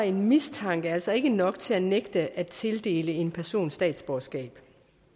en mistanke altså ikke nok til at nægte at tildele en person statsborgerskab